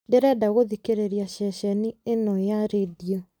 ndĩrenda gũthikĩrĩria ceceni ĩno ya rĩndiũ